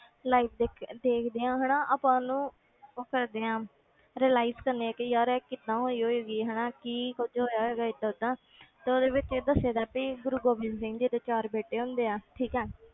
Live ਦੇਖ ਕੇ ਦੇਖਦੇ ਹਾਂ ਹਨਾ ਆਪਾਂ ਉਹਨੂੰ ਉਹ ਕਰਦੇ ਹਾਂ realize ਕਰਦੇ ਹਾਂ ਕਿ ਯਾਰ ਇਹ ਕਿੱਦਾਂ ਹੋਈ ਹੋਏਗੀ ਹਨਾ ਕੀ ਕੁੱਝ ਹੋਇਆ ਹੋਏਗਾ ਏਦਾਂ ਓਦਾਂ ਤੇ ਉਹਦੇ ਵਿੱਚ ਦੱਸੇਦਾ ਵੀ ਗੁਰੂ ਗੋਬਿੰਦ ਸਿੰਘ ਜੀ ਦੇ ਚਾਰ ਬੇਟੇ ਹੁੰਦੇ ਆ ਠੀਕ ਹੈ